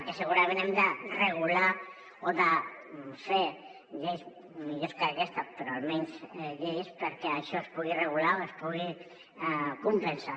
el que segurament hem de regular o de fer lleis millors que aquesta però almenys lleis perquè això es pugui regular o es pugui compensar